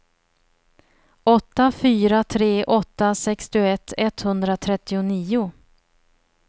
åtta fyra tre åtta sextioett etthundratrettionio